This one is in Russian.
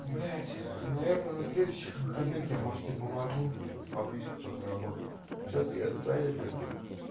блять наверное на следующих выходных я может тебе помогу баблишко подзаработать а сейчас я занят как бы